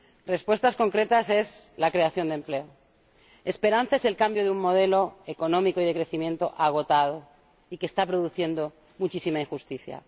Respuestas concretas son la creación de empleo. Esperanza es el cambio de un modelo económico y de crecimiento agotado, y que está produciendo muchísima injusticia.